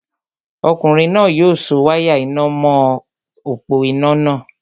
Ọkùnrin náà yóò so wáyà iná nà mọ̀ọ́ òpó-iná náà